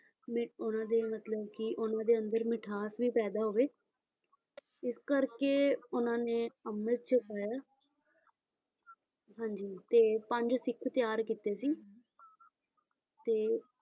ਮੀ ਉਹਨਾਂ ਦੇ ਮਤਲਬ ਕੀ ਉਹਨਾਂ ਦੇ ਅੰਦਰ ਮਿਠਾਸ ਵੀ ਪੈਦਾ ਹੋਵੇ, ਇਸ ਕਰਕੇ ਉਹਨਾਂ ਨੇ ਅੰਮ੍ਰਿਤ ਛਕਾਇਆ ਹਾਂਜੀ ਤੇ ਪੰਜ ਸਿੱਖ ਤਿਆਰ ਕੀਤੇ ਸੀ ਤੇ,